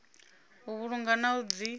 u vhulunga na u dzi